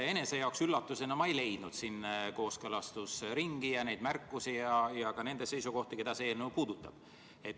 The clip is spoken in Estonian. Enese jaoks üllatusena ei leidnud ma siit kooskõlastusringilt tulnud märkusi ja ka nende seisukohti, keda see eelnõu puudutab.